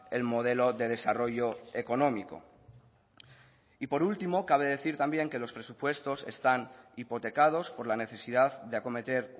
el modelo de desarrollo económico y por último cabe decir también que los presupuestos están hipotecados por la necesidad de acometer